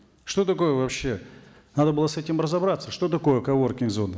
что такое вообще надо было с этим разобраться что такое коворкинг зона